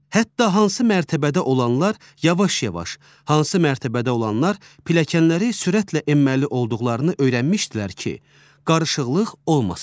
Hətta hansı mərtəbədə olanlar yavaş-yavaş, hansı mərtəbədə olanlar pilləkənləri sürətlə enməli olduqlarını öyrənmişdilər ki, qarışıqlıq olmasın.